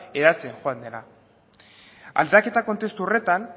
hedatzen joan dena aldaketa kontestu horretan